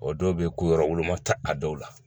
O dɔw bɛ yen ko yɔrɔ woloma ta a dɔw la